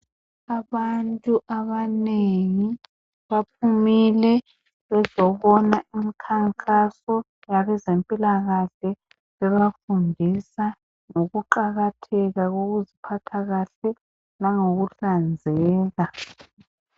Abantu abanengi baphumile bezobona umkhankaso yabezempilakahle bebafundisa ngokuqakatheka kokuziphatha kahle langokuhlanzeka.